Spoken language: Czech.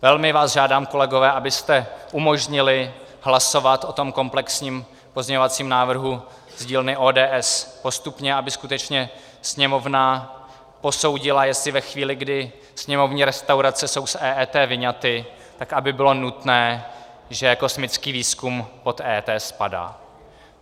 Velmi vás žádám, kolegové, abyste umožnili hlasovat o tom komplexním pozměňovacím návrhu z dílny ODS postupně, aby skutečně Sněmovna posoudila, jestli ve chvíli, kdy sněmovní restaurace jsou z EET vyňaty, tak aby bylo nutné, že kosmický výzkum pod EET spadá.